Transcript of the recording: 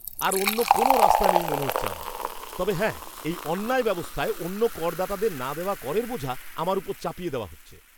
আর অন্য কোনও রাস্তাও নেই মনে হচ্ছে আমার, তবে হ্যাঁ এই অন্যায় ব্যবস্থায় অন্য করদাতাদের না দেওয়া করের বোঝা আমার ওপর চাপিয়ে দেওয়া হচ্ছে।